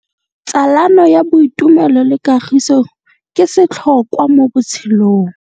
Tsalano ya boitumelo le kagiso ke setlhôkwa mo botshelong.